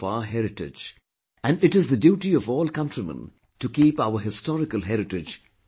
And it is the duty of all countrymen to keep our historical heritage safe and clean